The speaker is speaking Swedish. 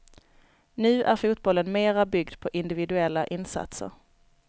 Nu är fotbollen mera byggd på individuella insatser.